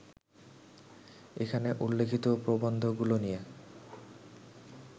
এখানে উল্লিখিত প্রবন্ধগুলো নিয়ে